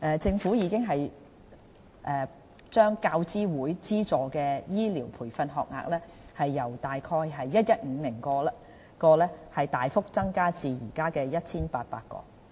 政府已把大學教育資助委員會資助的醫療培訓學額由約 1,150 個大幅增至約現在的 1,800 個。